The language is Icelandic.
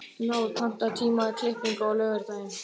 Náð, pantaðu tíma í klippingu á laugardaginn.